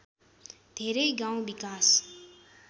धेरै गाउँ विकास